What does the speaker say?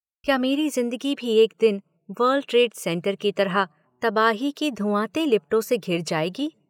क्या मेरी जिंदगी भी एक दिन वर्ल्ड ट्रेड सेंटर की तरह तबाही की धुआंते लपटों से घिर जाएगी?